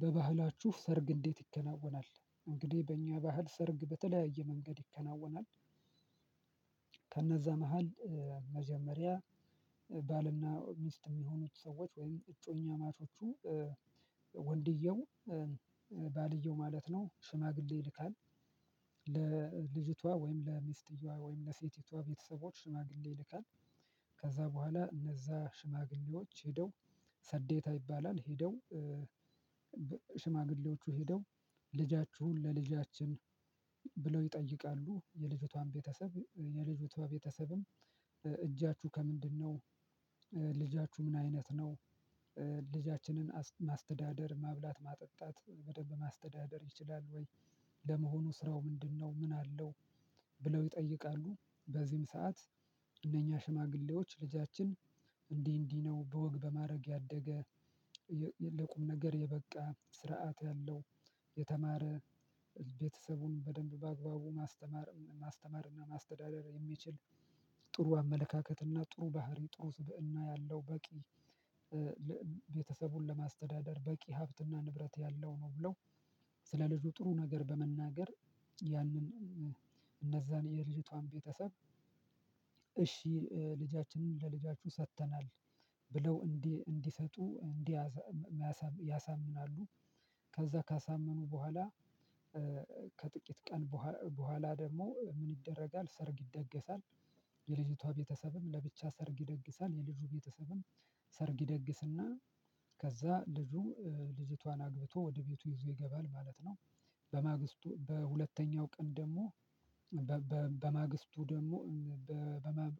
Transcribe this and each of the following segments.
በባህላችሁ ሰርግ እንዴት? ይከናወናል እንግዲህ በእኛ ባህል ሰርግ በተለያየ መንገድ ይከናወናል። ከነዛ መሃል መጀመሪያ ባልና ሚስት የሚሆኑት ሰዎች ወይም እጮኛማቾቹ ወንድየው ባልየው ማለት ነው ሽማግሌ ይልካል። ለልጅቷ ወይም ለሚስትየዋ ወይም ለሴቲቷ ቤተሰቦች ሽማግሌ ይልካል። ከዛ በኋላ እነዛ ሽማግሌዎች ሄደው ሰዴታ ይባላል። ሄደው ሽማግሌዎቹ ሄደው ልጃችሁን ለልጃችን ብለው ይጠይቃሉ። የልጅቷን ቤተሰብ የልጅቷ ቤተሰብም እጃችሁ ከምንድነው? ልጃችሁ ምን አይነት ነው? ልጃችንን ማስተዳደር ማብላት ማጠጣት በደንብ ማስተዳደር ይችላል ወይ? ለመሆኑ ስራው ምንድነው? ምን አለው ብለው ይጠይቃሉ። በዚህም ሰዓት እነኛ ሽማግሌዎች ልጃችን እንዲህ እንዲህ ነው በወግ በማዕረግ ያደገ ለቁም ነገር የበቃ ስርዓት ያለው የተማረ ቤተሰቡን በደንብ በአግባቡ ማስተማር ማስተማርና ማስተዳደር የሚችል ጥሩ አመለካከት እና ጥሩ ባህሪ ጥሩ ስብእና ያለው በቂ ቤተሰቡን ለማስተዳደር በቂ ሀብትና ንብረት ያለው ነው ብለው። ስለ ልጁ ጥሩ ነገር በመናገር ያንን እነዛን የልጅቷን ቤተሰብ። እሺ ልጃችንን ለልጃችሁ ሰጥተናል ብለው እንዲህ እንዲሰጡ እንዲህ ያሳምናሉ። ከዛ ካሳመኑ በኋላ። ከጥቂት ቀን በኋላ ደግሞ ምን ይደረጋል? ሰርግ ይደገሳል። የልጅቷ ቤተሰብም ለብቻ ሰርግ ይደግሳል የልጁ ቤተሰብም ሰርግ ይደግስና ከዛ ልጁ ልጅቷን አግብቶ ወደ ቤቱ ይዞ ይገባል ማለት ነው። በማግስቱ በሁለተኛው ቀን ደግሞ በማግስቱ ደግሞ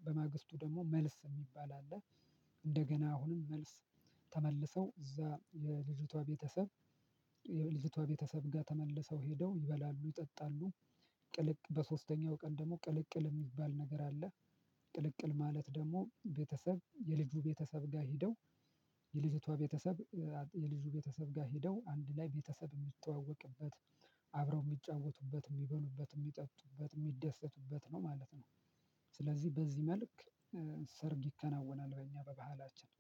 በማግስቱ ደግሞ መልስ የሚባል አለ። እንደገና አሁንም መልስ ተመልሰው እዛ የልጅቷ ቤተሰብ የልጅቷ ቤተሰብ ጋር ተመልሰው ሄደው ይበላሉ ይጠጣሉ። ቅልቅ በሶስተኛው ቀን ደግሞ ቅልቅል የሚባል ነገር አለ። ቅልቅል ማለት ደግሞ ቤተሰብ የልጁ ቤተሰብ ጋር ሄደው የልጅቷ ቤተሰብ የልጁ ቤተሰብ ጋር ሄደው አንድ ላይ ቤተሰብ የሚተዋወቅበት አብረው የሚጫወቱበት የሚበሉበት የሚጠጡበት የሚደሰቱበት ነው ማለት ነው። ስለዚህ በዚህ መልክ ሰርግ ይከናወናል። በእኛ በባህላችን